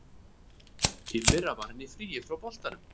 Í fyrra var hann í fríi frá boltanum.